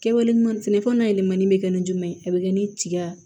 Kɛwale ɲuman sɛnɛfɛnw layɛlɛmanni bɛ kɛ ni jumɛn ye a bɛ kɛ ni tiga